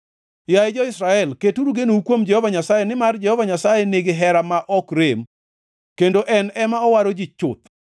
Yaye jo-Israel, keturu genou kuom Jehova Nyasaye, nimar Jehova Nyasaye nigi hera ma ok rem, kendo en ema owaro ji chuth.